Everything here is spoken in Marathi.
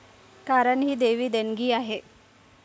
कारण ही दैवी देणगी आहे.